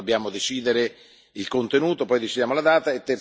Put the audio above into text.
Ma prima dobbiamo decidere il contenuto, poi decideremo la data.